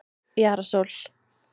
Jara Sól